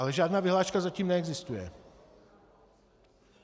Ale žádná vyhláška zatím neexistuje.